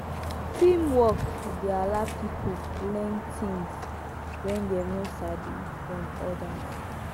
teamwork dey allow pipo learn things wey dem no sabi from others